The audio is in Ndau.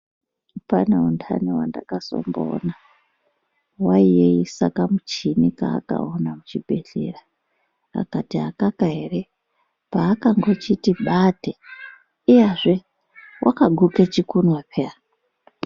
Pane untani wandakazomboona waiyeisa kamuchini kaakaona kuchibhedhlera akati akaka ere pakangochiti bate iyazve wakaguke chimwe peya.